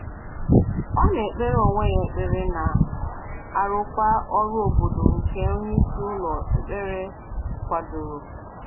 Ọ na-ekpere onwe ya ekpere na arụkwa ọrụ obodo nke onyeisi ụlọ ekpere kwadoro